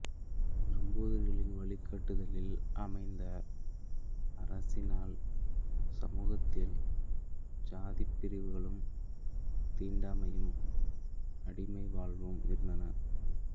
நம்பூதிரிகளில் வழிகாட்டுதலில் அமைந்த அரசினால் சமூகத்தில் சாதிப் பிரிவுகளும் தீண்டாமையும் அடிமை வாழ்வும் இருந்தன